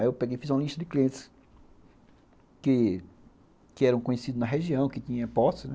Aí eu fiz uma lista de clientes que que eram conhecidos na região, que tinha posse, né?